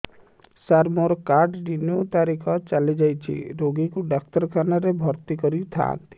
ସାର ମୋର card renew ତାରିଖ ଚାଲି ଯାଇଛି ରୋଗୀକୁ ଡାକ୍ତରଖାନା ରେ ଭର୍ତି କରିଥାନ୍ତି